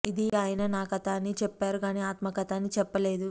ఇది ఆయన నా కథ అనే చెప్పారు గానీ ఆత్మకథ అని చెప్పలేదు